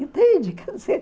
Entende?